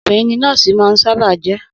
Obìnrin ni nọ́ọ̀sì máa ń sábà á jẹ́